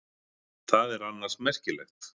Það er annars merkilegt.